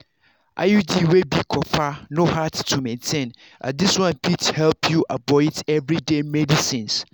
iud wey be copper no hard to maintain as this one fit help you avoid everyday medicines.